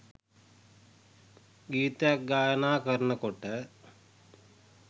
ගීතයක් ගායනා කරනකොට